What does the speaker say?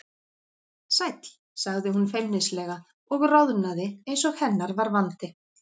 Sæll sagði hún feimnislega og roðnaði eins og hennar var vandi.